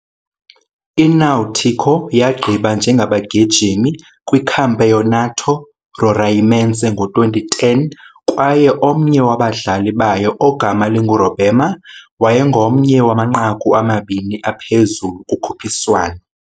I-Náutico yagqiba njengabagijimi kwiCampeonato Roraimense ngo-2010, kwaye omnye wabadlali bayo, ogama linguRobemar wayengomnye wamanqaku amabini aphezulu kukhuphiswano.